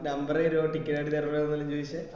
number തരോ ticket എടുതരാണോ എല്ലൊം ചോയിച്ചേ